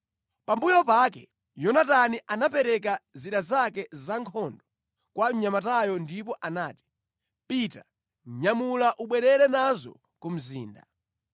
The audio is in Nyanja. Pambuyo pake Yonatani anapereka zida zake za nkhondo kwa mnyamatayo ndipo anati, “Pita, nyamula ubwerere nazo ku mzinda.”